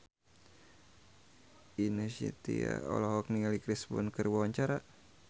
Ine Shintya olohok ningali Chris Brown keur diwawancara